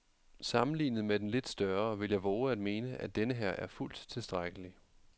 Sammenlignet med den lidt større vil jeg vove at mene, at denneher er fuldt tilstrækkelig.